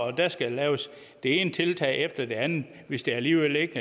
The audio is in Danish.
at der skal laves det ene tiltag efter det andet hvis det alligevel ikke